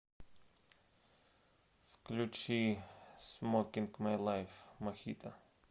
включи смокинг май лайф мохито